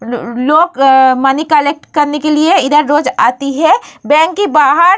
उम्म लोग आ money collect करने के लिए इधर रोज आती है बैंक के बाहर --